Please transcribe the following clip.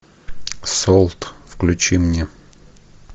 солт включи мне